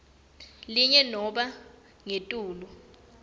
linye nobe ngetulu